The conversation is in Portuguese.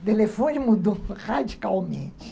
O telefone mudou radicalmente.